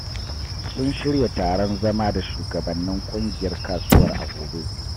Sun shirya taron zama da shugabannin ƙungiyar kasuwar a gobe.